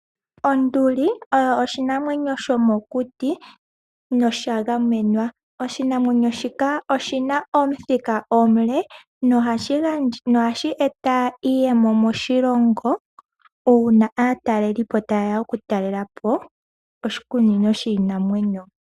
Onduli oyo oshinamwenyo shomokuti nosha ngamenwa, oshinamwenyo shika oshina omuthika omule nohashi eta iiyemo moshilongo, uuna aatalelipo ta yeya okutalelapo oshikunino shiinamwenyo.